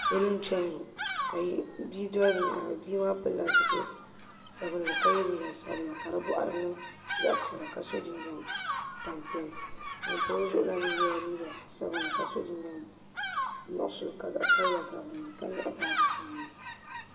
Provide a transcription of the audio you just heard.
Salo n chɛni ŋɔ ka bia doli bi yɛanga bia maa pilila zipili sabinli ka ye liiga sabinli ka di bɔɣari niŋ zaɣi piɛlla ka so jinjam tampilim ŋuni pa o zuɣu la mi ye la sabinli ka so jinjam nuɣiso ka zaɣi sabila gabi dini ka nyaɣi baaji sabinli.